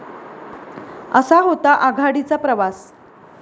असा होता आघाडीचा प्रवास